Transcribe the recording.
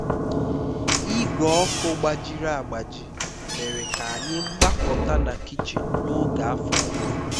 igwe ọkụ gbajiri agbaji mere ka anyị gbakọta na kichin n'oge afọ ọhụrụ